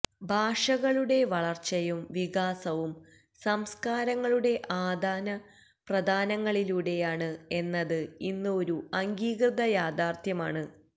ഭാഷകളുടെ വളർച്ചയും വികാസവും സംസ്കാരങ്ങളുടെ ആദാനപ്രദാനങ്ങളിലൂടെയാണ് എന്നത് ഇന്ന് ഒരു അംഗീകൃത യാഥാർഥ്യമാണ്